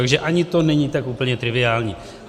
Takže ani to není tak úplně triviální.